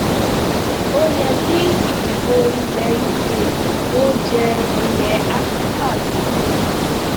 ó yẹ kí ìdìbò ilẹ uk ó jẹ ilẹ áfíríkà lógún